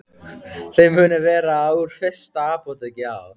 Þau munu vera úr fyrsta apóteki á